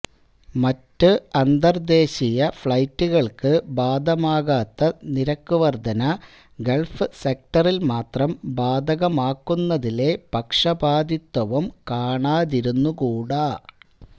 മറ്റ് അന്തർദ്ദേശീയ ഫ്ളൈറ്റുകൾക്കു ബാധകമാകാത്ത നിരക്കു വർദ്ധന ഗൾഫ് സെക്ടറിൽ മാത്രം ബാധകമാക്കുന്നതിലെ പക്ഷപാതിത്വവും കാണാതിരുന്നുകൂടാ